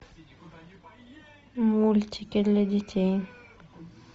мультики для детей